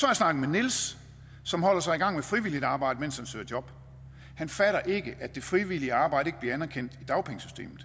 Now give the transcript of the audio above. jeg snakket med niels som holder sig i gang med frivilligt arbejde mens han søger job han fatter ikke at det frivillige arbejde ikke bliver anerkendt i dagpengesystemet